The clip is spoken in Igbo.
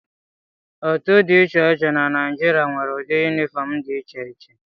Otu dị iche iche na Naijiria nwere ụdị yunifọm dị iche iche.